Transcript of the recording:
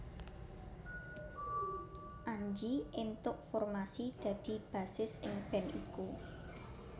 Anji éntuk formasi dadi bassis ing band iku